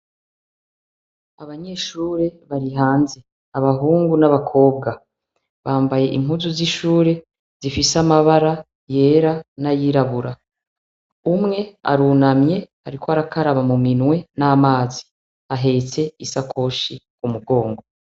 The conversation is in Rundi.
Abanyeshure bari hanze abahungu n'abakobwa bambaye inkuzu z'ishure zifise amabara yera n'ayirabura umwe arunamye, ariko arakaraba mu minwe n'amazi ahetse isoakoshi ku mugongo.